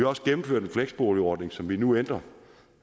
også gennemført en fleksboligordning som vi nu ændrer